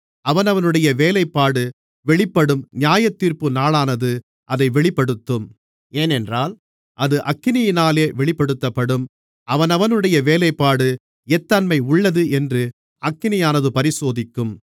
அவனவனுடைய வேலைப்பாடு வெளிப்படும் நியாயத்தீர்ப்பு நாளானது அதை வெளிப்படுத்தும் ஏனென்றால் அது அக்கினியினாலே வெளிப்படுத்தப்படும் அவனவனுடைய வேலைப்பாடு எத்தன்மையுள்ளது என்று அக்கினியானது பரிசோதிக்கும்